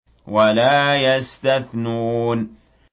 وَلَا يَسْتَثْنُونَ